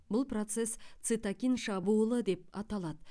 бұл процесс цитокин шабуылы деп аталады